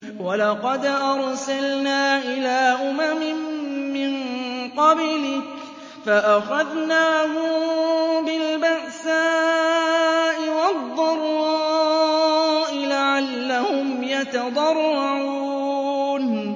وَلَقَدْ أَرْسَلْنَا إِلَىٰ أُمَمٍ مِّن قَبْلِكَ فَأَخَذْنَاهُم بِالْبَأْسَاءِ وَالضَّرَّاءِ لَعَلَّهُمْ يَتَضَرَّعُونَ